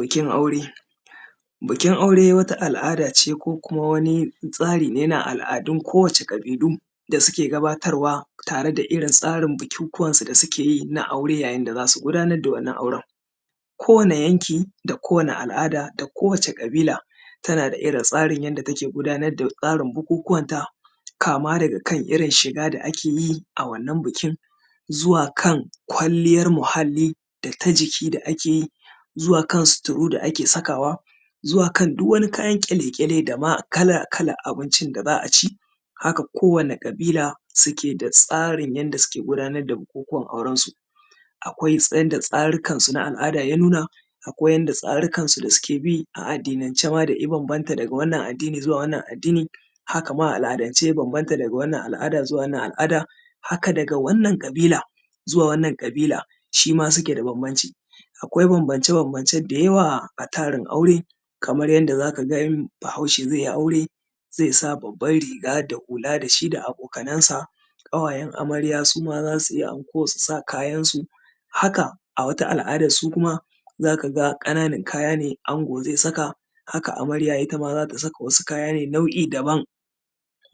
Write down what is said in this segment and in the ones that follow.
bikin auɽe bikin aure wata al’adace ko kuma wani tsarina na kowani kabilu da suke gabatarwa tare da irrin tsarin bukukuwan su da sukeyi na aure yayin da zasu gudanar da wannan auren ko wane yanki da ko wani al’ada da ko wace kabila tanada irrin tsarin yanda take gudanar da bukukuwan ta kama daga irrin shiga da akeyi a wannan bikin zuwa irrin kwalliyar muhalli data ʤiki da akeyi zuwa kan suturu da ake sakawa zuwa kan duk wani kayan kyale kyale dama kalan kalan abincin da za’aci haka ko wani kabila suke da tsarin yanda suke gudanar da bukuwan auren su akwai yanda tsarikan na al’ada ya nuna akwai yanda tsarikan su na addinance ma daga wannan addini zuwa wannan addini hakama a al’adan ce ya banbanta daga wannan al’ada zuwa wannan al’ada haka daga wannan kabila zuwa wannan kabila shima suke da banbanci akwai banbance banbance da yawa a tsarin aure kaman yanda zakaga in bahaushe zaiyi aure zaisa babban riga da hula da shida abokan sa kawayen amarya suma zasui anko susa kayansu haka a wata al’adan zakaga kananan kayane angon zai saka haka amaryan ittama zata saka wasu kaya ne nau’i daban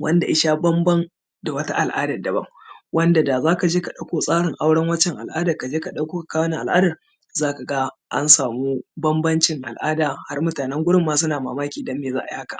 wanda isha banban da wata al’adan daban wanda da zakaje ka daukan tsarin wancan al’adan ka kawo wannan al’adan zaka ansama banbancin al’ada har mutanen gurin ma suna mamaki dane me za’ai haka